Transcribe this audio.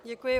Děkuji.